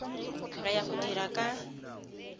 re ya go dira ka